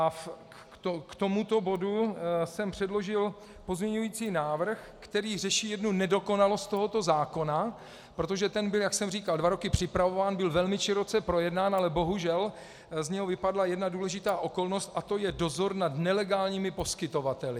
A k tomuto bodu jsem předložil pozměňující návrh, který řeší jednu nedokonalost tohoto zákona, protože ten byl, jak jsem říkal, dva roky připravován, byl velmi široce projednán, ale bohužel z něj vypadla jedna důležitá okolnosti a to je dozor nad nelegálními poskytovateli.